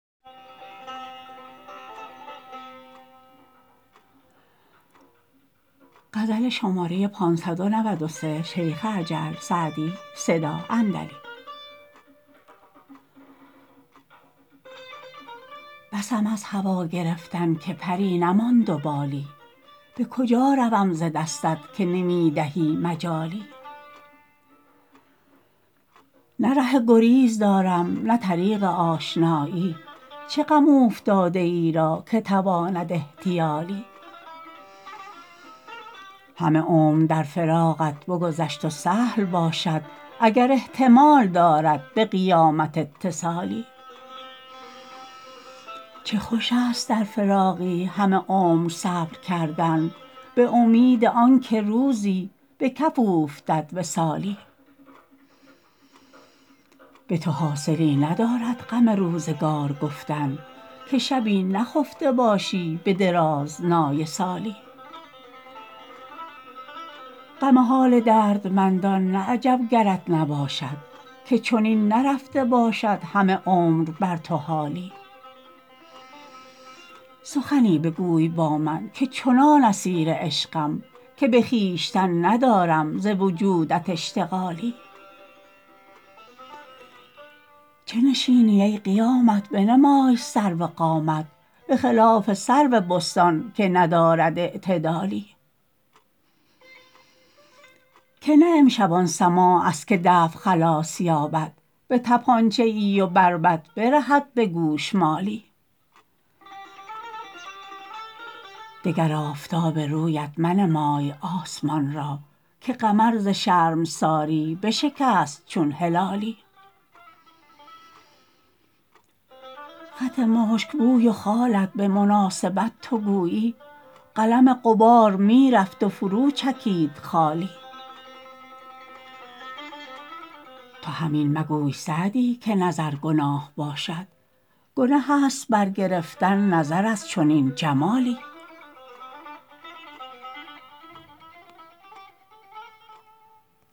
بسم از هوا گرفتن که پری نماند و بالی به کجا روم ز دستت که نمی دهی مجالی نه ره گریز دارم نه طریق آشنایی چه غم اوفتاده ای را که تواند احتیالی همه عمر در فراقت بگذشت و سهل باشد اگر احتمال دارد به قیامت اتصالی چه خوش است در فراقی همه عمر صبر کردن به امید آن که روزی به کف اوفتد وصالی به تو حاصلی ندارد غم روزگار گفتن که شبی نخفته باشی به درازنای سالی غم حال دردمندان نه عجب گرت نباشد که چنین نرفته باشد همه عمر بر تو حالی سخنی بگوی با من که چنان اسیر عشقم که به خویشتن ندارم ز وجودت اشتغالی چه نشینی ای قیامت بنمای سرو قامت به خلاف سرو بستان که ندارد اعتدالی که نه امشب آن سماع است که دف خلاص یابد به طپانچه ای و بربط برهد به گوشمالی دگر آفتاب رویت منمای آسمان را که قمر ز شرمساری بشکست چون هلالی خط مشک بوی و خالت به مناسبت تو گویی قلم غبار می رفت و فرو چکید خالی تو هم این مگوی سعدی که نظر گناه باشد گنه است برگرفتن نظر از چنین جمالی